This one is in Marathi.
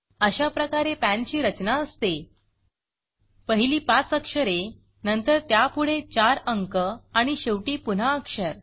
अशा प्रकारे पॅन ची रचना असते पहिली पाच अक्षरे नंतर त्यापुढे चार अंक आणि शेवटी पुन्हा अक्षर